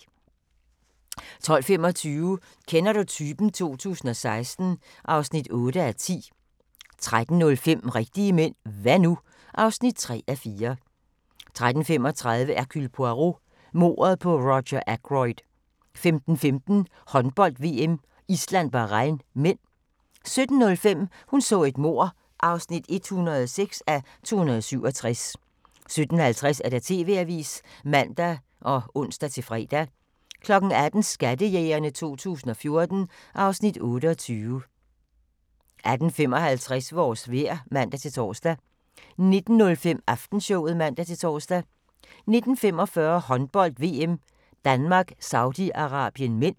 12:25: Kender du typen? 2016 (8:10) 13:05: Rigtige mænd – hva' nu? (3:4) 13:35: Hercule Poirot: Mordet på Roger Ackroyd 15:15: Håndbold: VM - Island-Bahrain (m) 17:05: Hun så et mord (106:267) 17:50: TV-avisen (man og ons-fre) 18:00: Skattejægerne 2014 (Afs. 28) 18:55: Vores vejr (man-tor) 19:05: Aftenshowet (man-tor) 19:45: Håndbold: VM - Danmark - Saudi-Arabien (m)